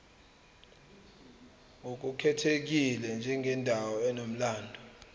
ngokukhethekile njengendawo enomlando